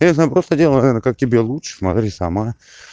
конечно просто делай наверное как тебе лучше смотри сама